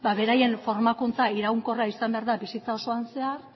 ba beraien formakuntza iraunkorra izan behar da bizitza osoan zehar